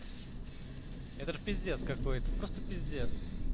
это пиздец какой-то просто пиздец